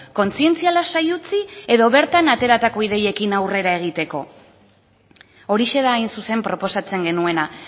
kontzientzia lasai utzi edo bertan ateratako ideiekin aurrera egiteko horixe da hain zuzen proposatzen genuena